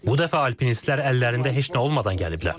Bu dəfə alpinistlər əllərində heç nə olmadan gəliblər.